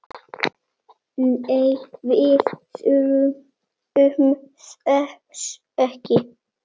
Nei, við þurfum þess ekki.